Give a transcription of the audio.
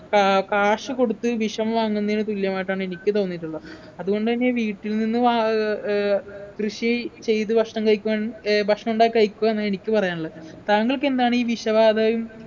ഏർ കാശുകൊടുത്ത് വിഷം വാങ്ങുന്നതിന് തുല്യമായിട്ടാണ് എനിക്ക് തോന്നിയിട്ടുള്ള അതുകൊണ്ടുതന്നെ വീട്ടിൽ നിന്നും വാ ഏർ ഏർ കൃഷി ചെയ്ത് ഭക്ഷണം കഴിക്കാൻ ഏർ ഭക്ഷണം ഉണ്ടാക്കി കഴിക്കുക എന്നാ എനിക്ക് പറയാനുള്ളെ താങ്കൾക്ക് എന്താണ് ഈ വിഷവാതകം